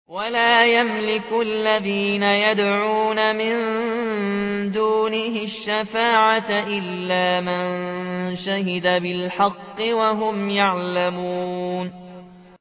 وَلَا يَمْلِكُ الَّذِينَ يَدْعُونَ مِن دُونِهِ الشَّفَاعَةَ إِلَّا مَن شَهِدَ بِالْحَقِّ وَهُمْ يَعْلَمُونَ